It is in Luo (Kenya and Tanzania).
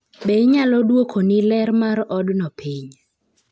Be inyalo dwokoni ler mar odno piny?